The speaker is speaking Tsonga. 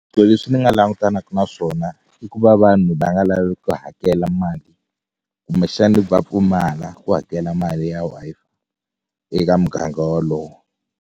Swilo leswi ni nga langutanaku na swona i ku va vanhu va nga lavi ku hakela mali kumbexani va pfumala ku hakela mali ya Wi-Fi eka muganga walowo.